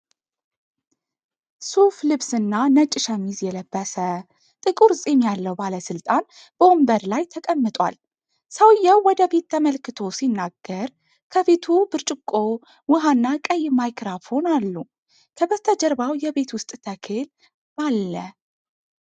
ሱፍ ልብስና ነጭ ሸሚዝ የለበሰ፣ ጥቁር ጺም ያለው ባለስልጣን በወንበር ላይ ተቀምጧል። ሰውዬው ወደ ፊት ተመልክቶ ሲናገር፣ ከፊቱ ብርጭቆ ውሃና ቀይ ማይክሮፎን አሉ። ከበስተጀርባው የቤት ውስጥ ተክል አለ።